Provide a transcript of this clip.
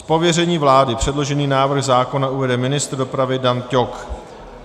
Z pověření vlády předložený návrh zákona uvede ministr dopravy Dan Ťok.